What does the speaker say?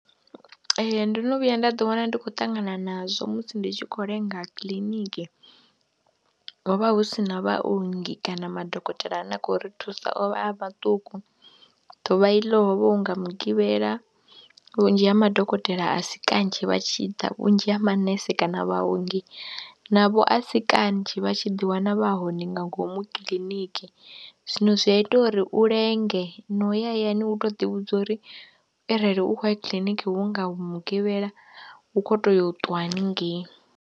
Ee, ndo no vhuya nda ḓiwana ndi khou ṱangana nazwo musi ndi tshi khou lenga kiḽiniki, ho vha hu si na vhaongi kana madokotela ane a khou ri thusa o vha a maṱuku, ḓuvha iḽo ho vha hu nga Mugivhela vhunzhi ha madokotela a si kanzhi vha tshi ḓa, vhunzhi ha manese kana vhaongi navho a si kanzhi vha tshi ḓiwana vha hone nga ngomu kiḽiniki. Zwino zwi ya ita uri u lenge no ya hayani u tou ḓivhudza uri arali u khou ya kiḽiniki hu nga mugivhela u khou tea u ṱwa haningei.